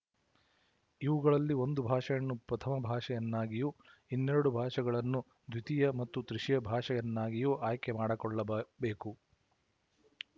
ಇವುಗಳಲ್ಲಿ ಒಂದು ಭಾಷೆಯನ್ನು ಪ್ರಥಮ ಭಾಷೆಯನ್ನಾಗಿಯೂ ಇನ್ನೆರಡು ಭಾಷೆಗಳನ್ನು ದ್ವಿತೀಯ ಮತ್ತು ತೃತೀಯ ಭಾಷೆಯನ್ನಾಗಿಯೂ ಆಯ್ಕೆ ಮಾಡಿಕೊಳ್ಳ ಬೇಕು